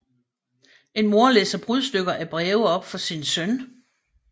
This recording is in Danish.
En mor læser brudstykker af breve op for sin søn